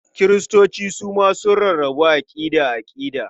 Kiristoci su ma sun rarrabu aƙida-aƙida.